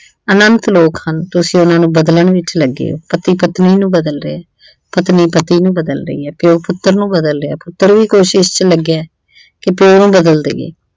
ਅਨੰਤ ਲੋਕ ਹਨ ਤੁਸੀਂ ਉਹਨਾਂ ਨੂੁੰ ਬਦਲਣ ਵਿੱਚ ਲੱਗੇ ਓ ਪਤੀ ਪਤਨੀ ਨੂੰ ਬਦਲ ਰਿਹਾ ਪਤਨੀ ਪਤੀ ਨੂੰ ਬਦਲ ਰਹੀ ਆ ਪਿਉ ਪੁੱਤਰ ਨੂੰ ਬਦਲ ਰਿਹਾ ਪੁੱਤਰ ਵੀ ਕੋਸ਼ਿਸ਼ ਚ ਲੱਗਿਆ ਕਿ ਪਿਉ ਨੂੰ ਬਦਲ ਦਈਏ।